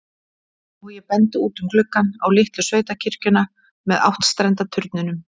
Og ég bendi út um gluggann, á litlu sveitakirkjuna með áttstrenda turninum.